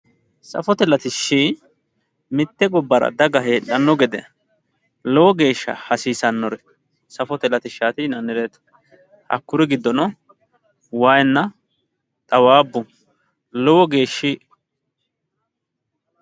Safote latishshi mite gobbara daga heedhano gede lowo geeshsha hasiisanore safote latishshati yinanni hakkuri giddono waayina xawabbu lowo geeshshi